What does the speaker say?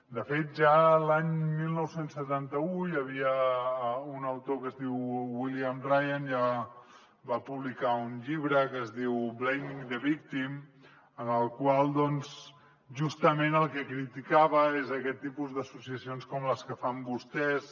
de fet ja l’any dinou setanta u hi havia un autor que es diu william ryan que ja va publicar un llibre que es diu blaming the victim en el qual doncs justament el que criticava és aquest tipus d’associacions com les que fan vostès